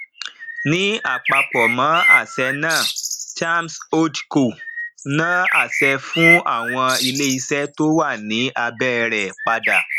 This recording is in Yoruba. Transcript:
ni ápapọ mo àṣẹ na chams holdco na àṣẹ fún àwọn ilé ìṣe to wá ní abé rẹ padà